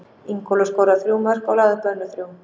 Ingólfur skoraði þrjú mörk og lagði upp önnur þrjú.